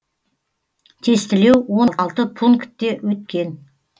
тестілеу он алты пункте өткен